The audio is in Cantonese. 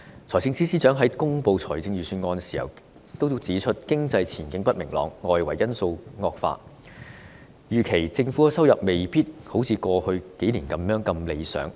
財政司司長在公布預算案時指出，經濟前景不明朗，外圍因素惡化，預期政府收入未必如過去數年般理想。